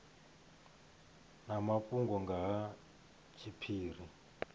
na mafhungo nga ha tshiphiri